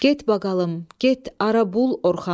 Get baqalım, get arabul Orxanı.